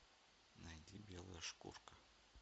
найди белая шкурка